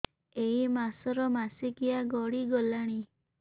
ଏଇ ମାସ ର ମାସିକିଆ ଗଡି ଗଲାଣି